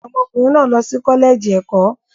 Ọmọkùnrin náà lọ sí kọ́lẹ́ẹ̀jì ẹ̀kọ́.